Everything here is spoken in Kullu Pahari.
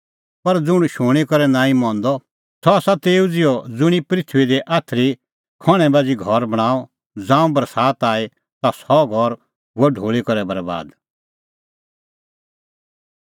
पर ज़ुंण शूणीं करै नांईं मंदअ सह आसा तेऊ ज़िहअ ज़ुंणी पृथूई दी आथरी खण्हैं बाझ़ी घर बणांअ ज़ांऊं बरसात आई ता सह घर हुअ ढूल़ी करै बरैबाद